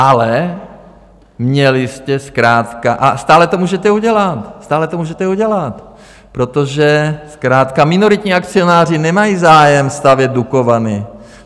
Ale měli jste zkrátka, a stále to můžete udělat - stále to můžete udělat, protože zkrátka minoritní akcionáři nemají zájem stavět Dukovany.